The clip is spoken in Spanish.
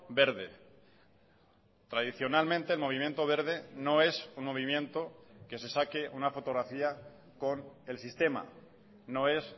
verde tradicionalmente el movimiento verde no es un movimiento que se saque una fotografía con el sistema no es